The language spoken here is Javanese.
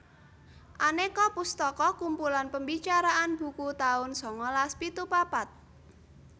Aneka pustaka kumpulan pembicaraan buku taun sangalas pitu papat